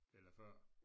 Eller før